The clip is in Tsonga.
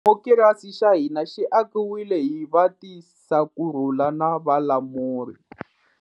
Xidimokirasi xa hina xi akiwile hi vatisakurhula na valamuri.